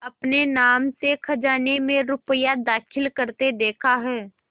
अपने नाम से खजाने में रुपया दाखिल करते देखा है